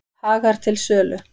Hagar til sölu